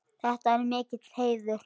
Þetta er mikill heiður.